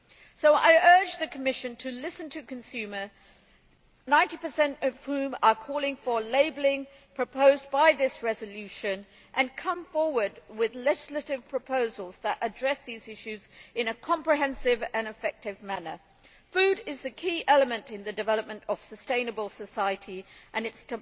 So I urge the Commission to listen to consumers 90 of whom are calling for labelling, as proposed by this resolution and to come forward with legislative proposals that address these issues in a comprehensive and effective manner. Food is the key element in the development of sustainable society, and it is